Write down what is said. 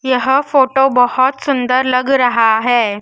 यह फोटो बहुत सुंदर लग रहा है।